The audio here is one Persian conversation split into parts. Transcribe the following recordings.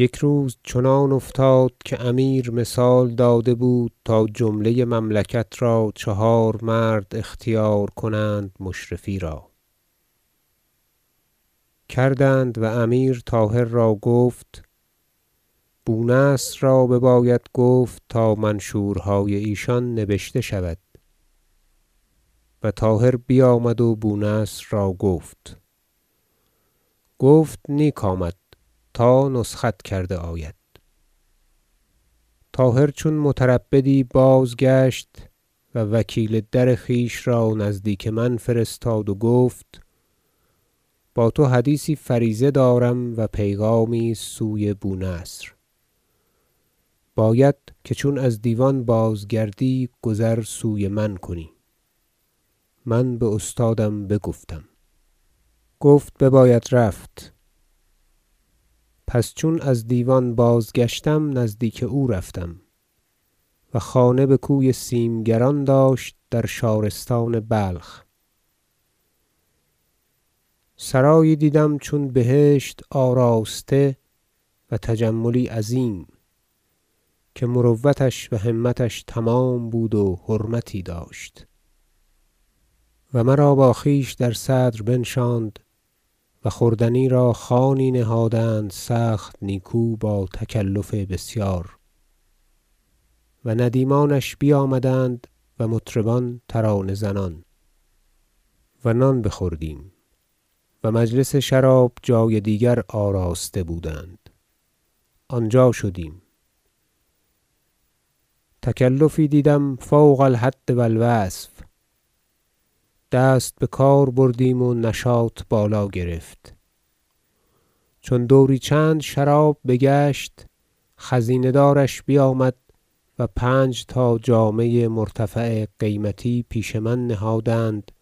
یک روز چنان افتاد که امیر مثال داده بود تا جمله مملکت را چهار مرد اختیار کنند مشرفی را کردند و امیر طاهر را گفت بو نصر را بباید گفت تا منشور- های ایشان نبشته شود و طاهر بیامد و بو نصر را گفت گفت نیک آمد تا نسخت کرده آید طاهر چون متربدی بازگشت و وکیل در خویش را نزدیک من فرستاد و گفت با تو حدیثی فریضه دارم و پیغامی است سوی بو نصر باید که چون از دیوان بازگردی گذر سوی من کنی من باستادم بگفتم گفت بباید رفت پس چون از دیوان بازگشتم نزدیک او رفتم- و خانه بکوی سیمگران داشت در شارستان بلخ - سرایی دیدم چون بهشت آراسته و تجملی عظیم که مروتش و همتش تمام بود و حرمتی داشت و مرا با خویشتن در صدر بنشاند و خوردنی را خوانی نهادند سخت نیکو با تکلف بسیار و ندیمانش بیامدند و مطربان ترانه زنان و نان بخوردیم و مجلس شراب جای دیگر آراسته بودند آنجا شدیم تکلفی دیدم فوق الحد و الوصف دست بکار بردیم و نشاط بالا گرفت چون دوری چند شراب بگشت خزینه دارش بیامد و پنج تا جامه مرتفع قیمتی پیش من نهادند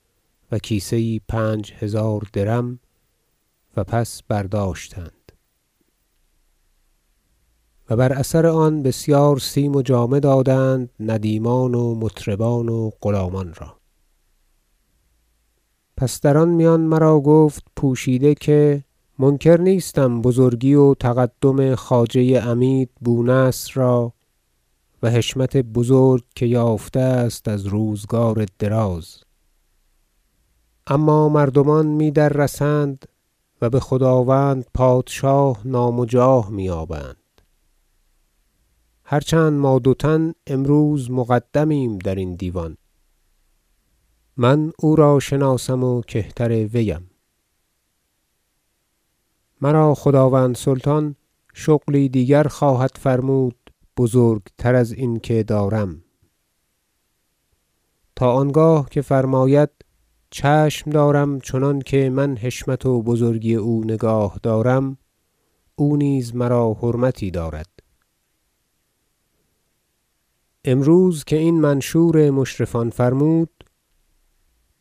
و کیسه یی پنج هزار درم و پس برداشتند و بر اثر آن بسیار سیم و جامه دادند ندیمان و مطربان و غلامان را پس در آن میان مرا گفت پوشیده که منکر نیستم بزرگی و تقدم خواجه عمید بو نصر را و حشمت بزرگ که یافته است از روزگار دراز اما مردمان می دررسند و بخداوند پادشاه نام و جاه می یابند هرچند ما دو تن امروز مقدمیم درین دیوان من او را شناسم و کهترویم مرا خداوند سلطان شغلی دیگر خواهد فرمود بزرگتر از این که دارم تا آنگاه که فرماید چشم دارم چنانکه من حشمت و بزرگی او نگاه دارم او نیز مرا حرمتی دارد امروز که این منشور مشرفان فرمود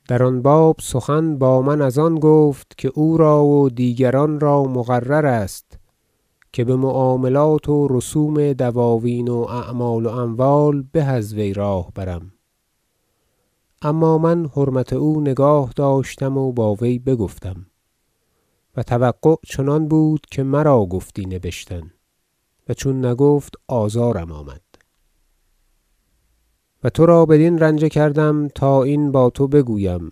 در آن باب سخن با من از آن گفت که او را و دیگران را مقررست که بمعاملات و رسوم دواوین و اعمال و اموال به از وی راه برم اما من حرمت او نگاه داشتم و با وی بگفتم و توقع چنان بود که مرا گفتی نبشتن و چون نگفت آزارم آمد و ترا بدین رنجه کردم تا این با تو بگویم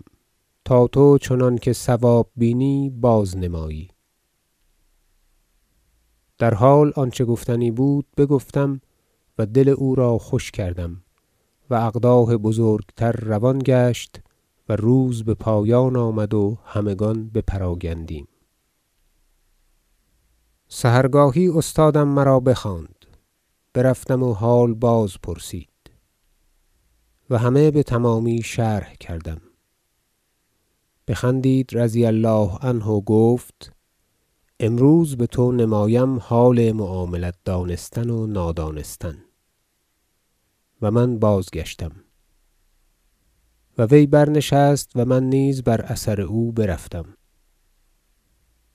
تا تو چنان که صواب بینی بازنمایی در حال آنچه گفتنی بود بگفتم و دل او را خوش کردم و اقداح بزرگتر روان گشت و روز بپایان آمد و همگان بپراگندیم سحرگاهی استادم مرا بخواند برفتم و حال بازپرسید و همه بتمامی شرح کردم بخندید رضی الله عنه و گفت امروز بتو نمایم حال معاملت دانستن و نادانستن و من بازگشتم و وی برنشست و من نیز بر اثر او برفتم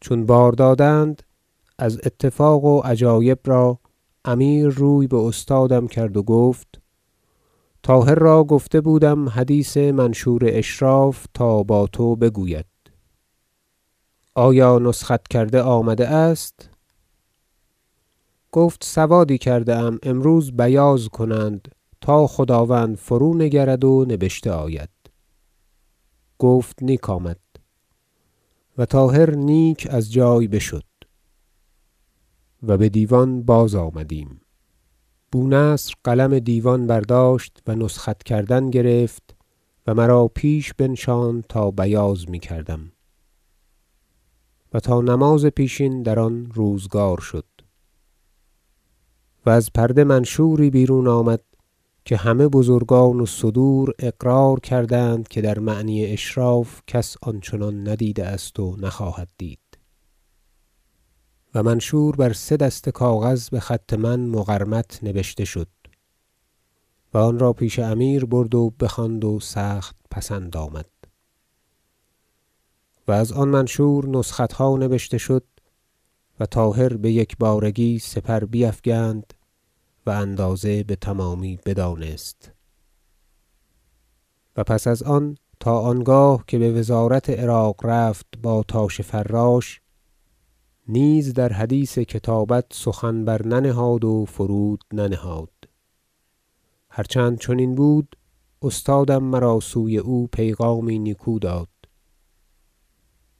چون بار دادند از اتفاق و عجایب را امیر روی به استادم کرد و گفت طاهر را گفته بودم حدیث منشور اشراف تا با تو بگوید آیا نسخت کرده آمده است گفت سوادی کرده ام امروز بیاض کنند تا خداوند فرونگرد و نبشته آید گفت نیک آمد و طاهر نیک از جای بشد و بدیوان بازآمدیم بو نصر قلم دیوان برداشت و نسخت کردن گرفت و مرا پیش بنشاند تا بیاض میکردم و تا نماز پیشین در آن روزگار شد و از پرده منشوری بیرون آمد که همه بزرگان و صدور اقرار کردند که در معنی اشراف کس آن چنان ندیده است و نخواهد دید و منشور بر سه دسته کاغذ بخط من مقرمط نبشته شد و آن را پیش امیر برد و بخواند و سخت پسند آمد و ازان منشور نسختها نبشته شد و طاهر بیکبارگی سپر بیفکند و اندازه بتمامی بدانست و پس از آن تا آنگاه که بوزارت عراق رفت با تاش فراش نیز در حدیث کتابت سخن برننهاد و فرود ننهاد هرچند چنین بود استادم مرا سوی او پیغامی نیکو داد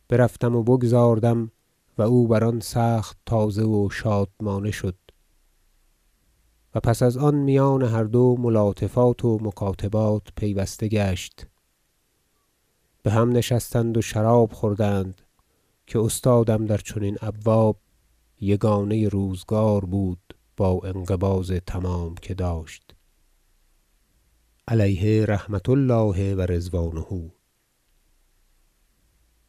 برفتم و بگذاردم و او بران سخت تازه و شادمانه شد و پس ازان میان هر دو ملاطفات و مکاتبات پیوسته گشت بهم نشستند و شراب خوردند که استادم در چنین ابواب یگانه روزگار بود با انقباض تمام که داشت علیه رحمة الله و رضوانه